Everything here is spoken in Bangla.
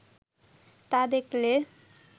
তা দেখলে